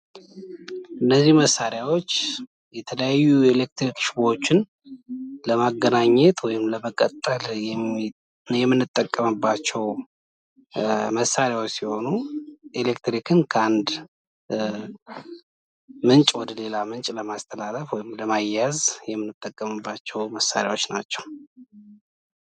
እነዚህ መሳሪያዎች የተለያዩ የኤሌክትሪክ ሽቦዎችን ለማገናኘት ወይም ለመቀጠል የምንጠቀምባቸው መሳርያዎች ሲሆኑ ፤ኤሌክትሪክን ከአንድ ምንጭ ወደሌላ ምንጭ ለማስተላለፍ ወይም ለማያያዝ የምንጠቀምባቸው መሳርያዎች ናቸው።